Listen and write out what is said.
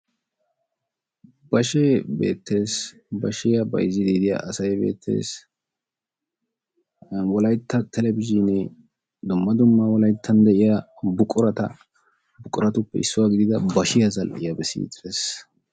bashshee beettees. Bashshiyaa bayzziidi de'iyaa asay beettees. Wollaytta telebizhinee dumma dumma wollayttan de'iyaa buqurata buqquratuppe issuwaa giidida bashiyaa beessidi de'ees.